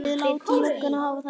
Við látum lögguna hafa það.